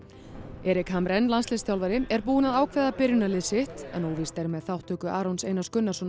Erik landsliðsþjálfari er búinn að ákveða byrjunarlið sitt en óvíst er með þátttöku Arons Einars Gunnarssonar